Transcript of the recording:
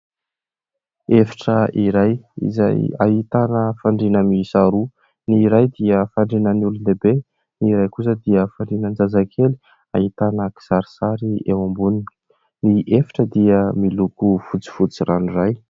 Efitra iray izay ahitana fandriana miisa roa : ny iray dia fandrianan'ny olon-lehibe, ny iray kosa dia fandrianan-jazakely ahitana kisarisary eo amboniny. Ny efitra dia miloko fotsifotsy ranoray.